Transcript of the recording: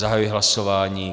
Zahajuji hlasování.